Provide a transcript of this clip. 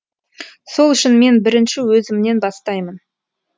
сол үшін мен бірінші өзімнен бастаймын